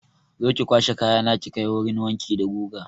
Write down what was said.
Zo ki kwashe kayana ki kai wurin wanki da guga!